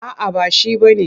A'a ba shi ba ne.